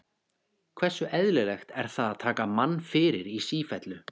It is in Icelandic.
Hversu eðlilegt er það að taka mann fyrir í sífellu?